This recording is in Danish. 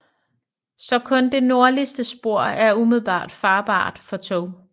Så kun det nordligste spor er umiddelbart farbart for tog